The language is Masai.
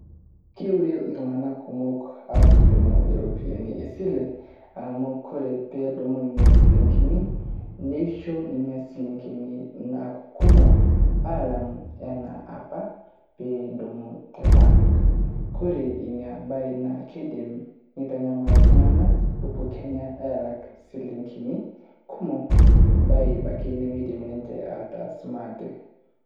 Keure iltung'anak kumok aatudumu irropiyiani e sile amu ore pee edumu nena shilingini naa keisho nena shilingini aaku kumok alang enapa pee idumu te bank. Kore ina baye naa kidim neitanyamal iltung'anak epukenya aalak shilingini kumok ebaya apake nemeidim ninche ataas maate.